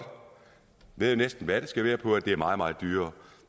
vædde næsten hvad det skal være på at det er meget meget dyrere